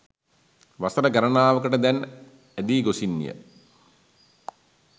වසර ගණනාවකට දැන් ඇදි ගොසින් ය.